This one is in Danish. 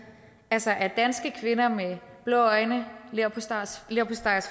altså er danske kvinder med blå øjne